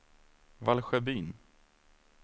Valsjöbyn